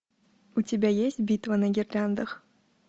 у тебя есть битва на гирляндах